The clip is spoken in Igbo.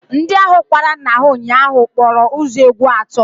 Ndị ahụ kwara nna ha ụnyaahụ kpọrọ ụzọ egwu atọ